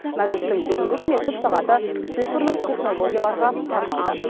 мәжілістің бүгінгі үкіметтік сағаты цифрлық технологияларға арналды